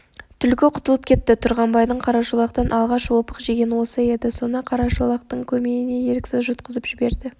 түлкі құтылып кетті тұрғанбайдың қарашолақтан алғаш опық жеген осы еді соны қарашолақтың көмейіне еріксіз жұтқызып жіберді